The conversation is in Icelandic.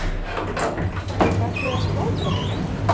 Magnús Hlynur Hreiðarsson: Hvað ætlið þið að slátra miklu?